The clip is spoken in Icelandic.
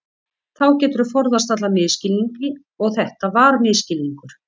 Þá geturðu forðast allan misskilning og þetta var misskilningur.